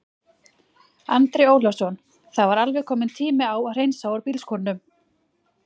Andri Ólafsson: Það var alveg kominn tími á að hreinsa úr bílskúrnum?